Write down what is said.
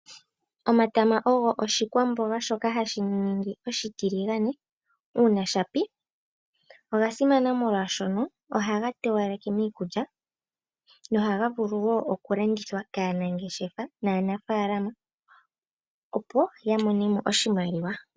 Omatama ogo oshikwamboga shoka hashi ningi oshitiligane shaa ga pi, oga simana molwashono ohaga towaleke miikulya nohaga vulu wo oku landithwa kaanangeshefa nokanafalama opo ya mone mo oshimaliwa.